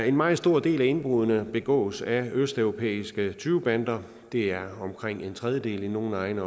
en meget stor del af indbruddene begås af østeuropæiske tyvebander det er omkring en tredjedel i nogle egne